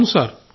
అవును సార్